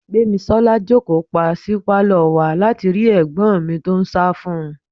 Gbémisọ́lá jókòó pa sí pálọ̀ wa láti rí ẹ̀gbọ́n mi tó ń sá fún un.